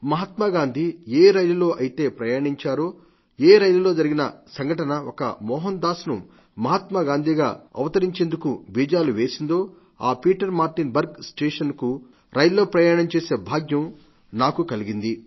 మహాత్మాగాంధీ ఏ రైలులో అయితే ప్రయాణించారో ఏ రైలులో జరిగిన సంఘటన ఒక మొహన్ దాస్ ను మహాత్మాగాంధీగా అవతరించేందుకు బీజాలు వేసిందో ఈ పీటర్ మార్టిన్ బర్గ్ స్టేషన్ కు రైల్లో ప్రయాణం చేసే భాగ్యం నాకు కలిగిం